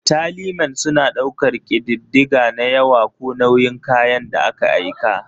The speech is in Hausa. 'Tallymen' suna ɗaukar ƙididdiga na yawa ko nauyin kayan da aka aika.